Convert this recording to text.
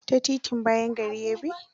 Ta titin bayan gari ya bi.